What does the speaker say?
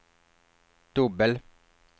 dubbel